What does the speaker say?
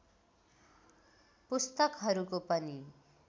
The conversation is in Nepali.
पुस्तकहरूको पनि